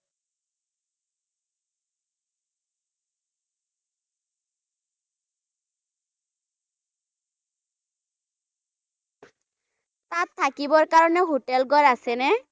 তাত থাকিবৰ বাবে হোটেল ঘৰ থাকে ন?